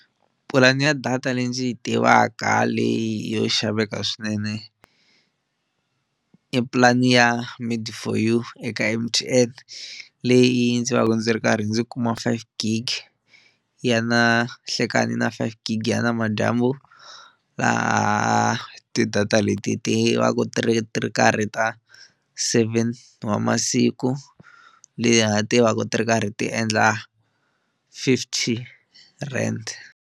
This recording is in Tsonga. Pulani ya data leyi ndzi yi tivaka leyi yo xaveka swinene i pulani ya made for you eka M_T_N leyi ndzi va ka ndzi ri karhi ndzi kuma five gigi ya na nhlekani na five gigi ya namadyambu laha ti-data leti ti va ku ti ri ti ri karhi ta seven wa masiku leha ti va ku ti ri karhi ti endla fifty rand.